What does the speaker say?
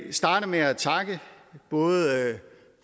vil starte med at takke både